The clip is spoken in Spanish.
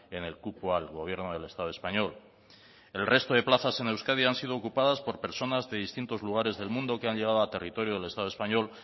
en el cupo al gobierno del estado español el resto de plazas en euskadi han sido ocupadas por personas de distintos lugares del mundo que han llegado a territorio del estado español